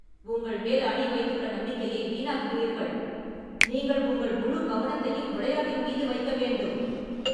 உங்கள் மேல் அணி வைத்துள்ள நம்பிக்கையை வீணாக்குகிறீர்கள். நீங்கள் உங்கள் முழு கவனத்தையும் விளையாட்டின் மீது வைக்க வேண்டும்.